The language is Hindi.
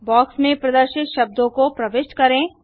बॉक्स में प्रदर्शित शब्दों को प्रविष्ट करें